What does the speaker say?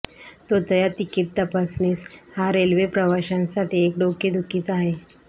तोतया ticket तपासणीस हा railway प्रवाशांसाठी एक डोकेदुखीच आहे